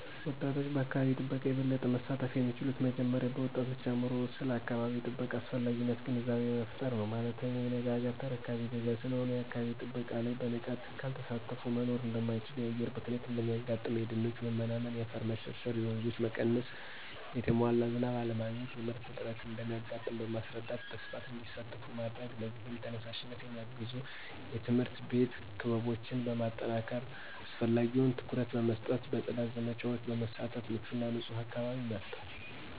ወጣቶች በአካባቢ ጥበቃ የበለጠ መሳተፍ የሚችሉት መጀመሪያ በወጣቶች አእምሮ ውስጥ ስለ አካባቢ ጥበቃ አስፈላጊነት ግንዛቤ በመፍጠር ነው። ማለትም የነገ አገር ተረካቢ ዜጋ ስለሆኑ የአካባቢ ጥበቃ ላይ በንቃት ካልተሳተፊ መኖር እደማይችሉ የአየር ብክለት እንደሚያጋጥም :የደኖች መመናመን :የአፈር መሸርሸር :የወንዞች መቀነስ: የተሟላ ዝናብ አለማግኘት :የምርት እጥረት እንደሚያጋጥም በማስረዳት በስፋት እንዲሳተፉ ማድረግ ለዚህም ተነሳሽነት የሚያግዙ የትምህርት ቤት ክበቦችን በማጠናከር አስፈላጊውን ትኩረት በመስጠት በጽዳት ዘመቻወች በመሳተፍ ምቹና ንጹህ አካባቢን መፍጠር።